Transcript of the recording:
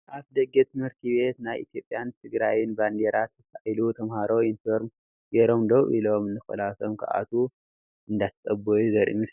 ኣብ ኣፍደገ ትምህርቲ ቤት ናይ ኢትዮጵያን ትግራይን ባንደራ ተሳእሉ ተማሃሮ ዮኒፎርም ገይሮም ዶው ኢሎም ንክላሶም ክኣትዉ እንዳተፀበዩ ዘርኢ ምስሊ እዩ።